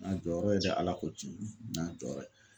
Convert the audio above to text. N ɲ'a jɔyɔrɔ ye dɛ Ala ko cɛn n ɲ'a jɔyɔrɔ ye.